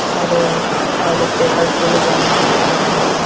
আর ও আর পেপারস -গুলো জমা দিতে যাই আমরা।